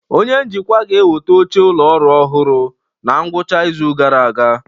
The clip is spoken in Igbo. Onye njikwa ga-eweta oche ụlọ ọrụ ọhụrụ na ngwụcha izu gara aga